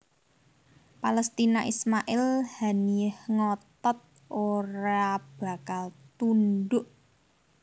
Palestina Ismail Haniyeh ngotot orea bakal tundhuk